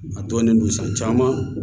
A dɔnnen don san caman